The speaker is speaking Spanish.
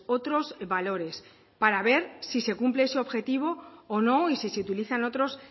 otros valores para ver si se cumple ese objetivo o no y si se utilizan otros